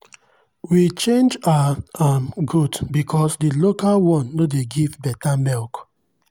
we change our um goat because the local one no dey give better milk.